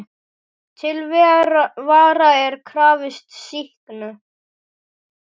Til vara er krafist sýknu.